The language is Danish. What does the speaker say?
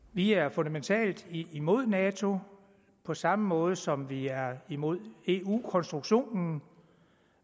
vi er fundamentalt imod nato på samme måde som vi er imod eu konstruktionen